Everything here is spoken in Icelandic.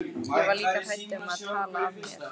Ég var líka hrædd um að tala af mér.